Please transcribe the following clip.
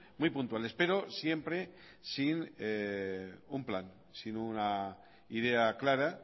muy puntuales pero siempre sin un plan sin una idea clara